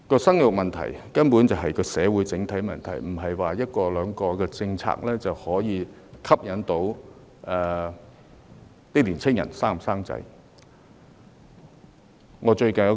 生育問題根本是社會的整體問題，而不是一兩項政策便足以鼓勵年青人生育的。